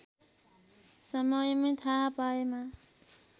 समयमै थाहा पाएमा